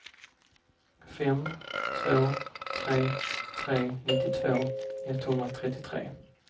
fem två tre tre nittiotvå etthundratrettiotre